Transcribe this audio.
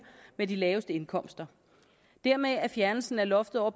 med de laveste indkomster dermed er fjernelsen af loftet over